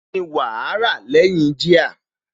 Kíni wàá rà lẹ́yìn jíà?